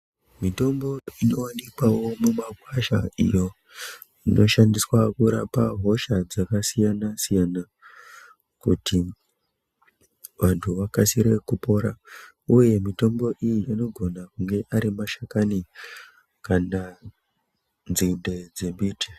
Mitombo inowanikwawo mumakwasha iyo inoshandiswa kurapa hosha dzakasiyana siyana kuti vantu vakasire kupora uye mutombo iyi inogona kunge ari mashakani kana nzinde dzembiti.